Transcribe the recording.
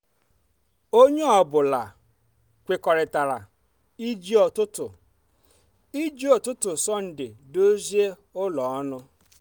onye ọ bụla kwekọrịtara iji ụtụtụ iji ụtụtụ sọnde dozi ụlọ ọnụ.